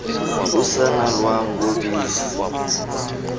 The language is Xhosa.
usana lwam ngobisi